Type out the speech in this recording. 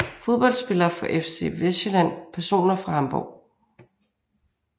Fodboldspillere fra FC Vestsjælland Personer fra Hamborg